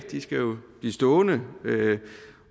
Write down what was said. de skal jo blive stående